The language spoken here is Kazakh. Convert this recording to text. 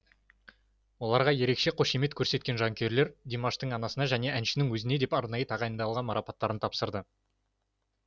оларға ерекше қошемет көрсеткен жанкүйерлер димаштың анасына және әншінің өзіне деп арнайы тағайындалған марапаттарын тапсырды